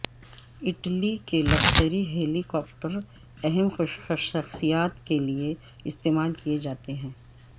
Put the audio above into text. Italy کے luxury helicopter اہم شخصیات کے لیے استعمال کیے جاتے ہیں